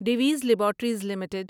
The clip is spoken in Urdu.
ڈیویز لیباریٹریز لمیٹڈ